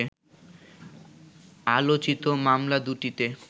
আলোচিত মামলা দুটিতে